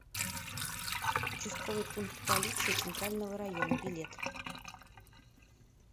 участковый пункт полиции центрального района билет